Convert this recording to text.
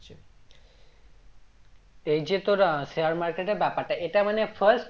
এই যে তোর আহ share market এর ব্যাপারটা এটা মানে first